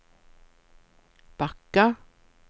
backa